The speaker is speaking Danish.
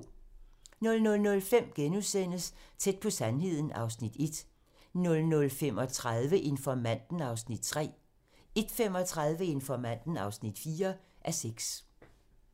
00:05: Tæt på sandheden (Afs. 1)* 00:35: Informanten (3:6) 01:35: Informanten (4:6)